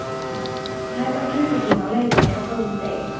Hún er tæpan klukkutíma á leiðinni á góðum degi.